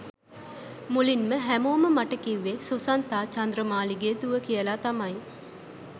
මුලින්ම හැමෝම මට කිව්වේ සුසන්තා චන්ද්‍රමාලිගේ දුව කියලා තමයි.